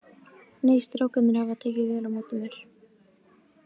Nei, strákarnir hafa tekið vel á móti mér.